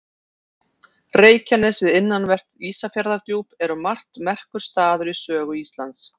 reykjanes við innanvert ísafjarðardjúp er um margt merkur staður í sögu íslands